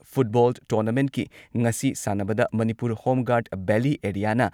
football ꯇꯣꯔꯅꯥꯃꯦꯟꯠꯀꯤ ꯉꯁꯤ ꯁꯥꯟꯅꯕꯗ ꯃꯅꯤꯄꯨꯔ ꯍꯣꯝꯒꯥꯔꯗ ꯚꯦꯜꯂꯤ ꯑꯦꯔꯤꯌꯥꯅ